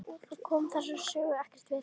Hann kom þessari sögu ekkert við.